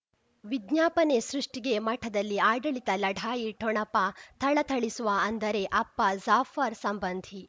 ವಿಜ್ಞಾಪನೆ ಸೃಷ್ಟಿಗೆ ಮಠದಲ್ಲಿ ಆಡಳಿತ ಲಢಾಯಿ ಠೊಣಪ ಥಳಥಳಿಸುವ ಅಂದರೆ ಅಪ್ಪ ಜಾಫರ್ ಸಂಬಂಧಿ